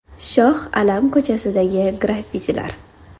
Shoh Alam ko‘chasidagi graffitilar.